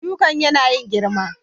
Shukan yana yin girma.